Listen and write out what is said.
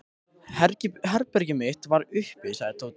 Herbergið mitt er uppi sagði Tóti.